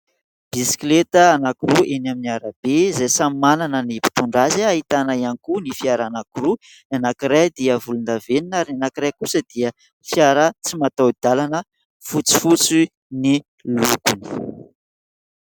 Bisikileta anankiroa eny amin'ny arabe izay samy manana ny mpitondra azy. Ahitana ihany koa ny fiara anankiroa, anankiray dia volondavenona ary anankiray kosa dia fiara tsy mataho-dalana fotsifotsy ny lokony.